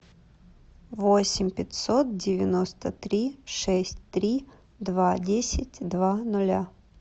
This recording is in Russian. восемь пятьсот девяносто три шесть три два десять два нуля